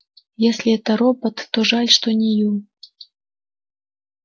если это робот то жаль что не ю